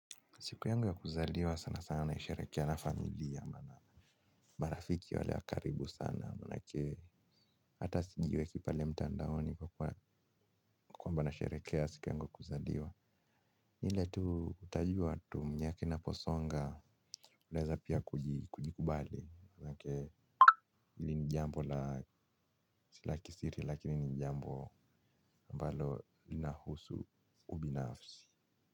Siku yangu ya kuzaliwa sana sana naisherekea na familia. Maana marafiki wale wa karibu sana maana yake hata sijiweki pale mtandaoni kwamba nashejherekea siku yangu ya kuzaliwa. Ni ile tu utajua tu mnyaki naposonga unaweza pia kujikubali. Maanake hili ni jambo la si la kisiri lakini ni jambo mbalo linahusu ubinafsi.